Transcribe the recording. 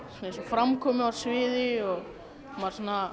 eins og framkomu á sviði og maður